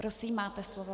Prosím, máte slovo.